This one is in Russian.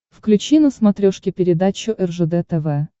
включи на смотрешке передачу ржд тв